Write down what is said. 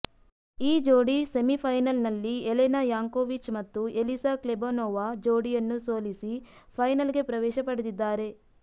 ಈ ಜೋಡಿ ಸೆಮಿಫೈನಲ್ನಲ್ಲಿ ಯೆಲೆನಾ ಯಾಂಕೊವಿಚ್ ಮತ್ತು ಎಲಿಸಾ ಕ್ಲೆಬಾನೊವಾ ಜೋಡಿಯನ್ನು ಸೋಲಸಿ ಫೈನಲ್ಗೆ ಪ್ರವೇಶ ಪಡೆದಿದ್ದಾರೆ